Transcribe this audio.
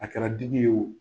A kɛra dimi ye o